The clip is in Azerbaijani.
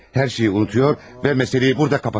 Hər şeyi unudur və məsələni burada qapatıram.